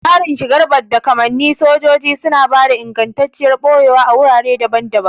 Tsarin shigar badda kamannin sojoji suna ba da ingantacciyar ɓoyewa a wurare daban-daban.